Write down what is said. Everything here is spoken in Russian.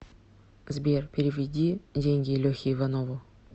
сбер переведи деньги лехе иванову